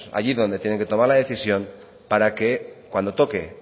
allí donde tiene que tomar la decisión para que cuando toque